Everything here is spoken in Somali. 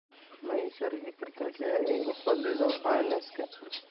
Ma ii sharixi kartaa sida ay u fadhido cananaaska?